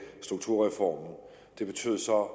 strukturreformen det betyder så